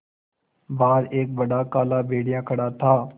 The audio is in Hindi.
बाहर एक बड़ा काला भेड़िया खड़ा था